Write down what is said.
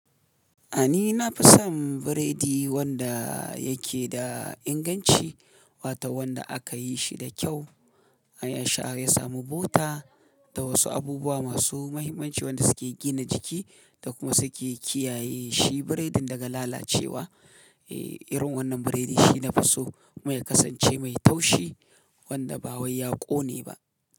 A ni na fi son biredi wanda yake da inganci, wato wanda aka yi shi da kyau. Ya sha ya samu bota da wasu abubuwa masu mahimmanci wanda suke gina jiki da kuma suke kiyaye shi biredin daga lalacewa. Irin wannan biredi shi na fi so kuma ya kasance mai taushi wanda ba wai ya ƙone ba.